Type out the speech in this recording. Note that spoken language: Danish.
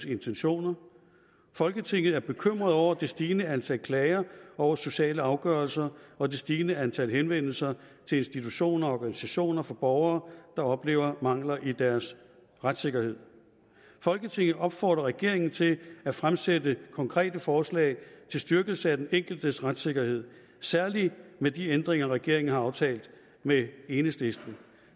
intentioner folketinget er bekymret over det stigende antal klager over sociale afgørelser og det stigende antal henvendelser til institutioner og organisationer fra borgere der oplever mangler i deres retssikkerhed folketinget opfordrer regeringen til at fremsætte konkrete forslag til styrkelse af den enkeltes retssikkerhed særlig med de ændringer regeringen har aftalt med enhedslisten